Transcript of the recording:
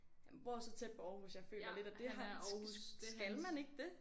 Han bor så tæt på Aarhus jeg føler lidt at det har skal man ikke det?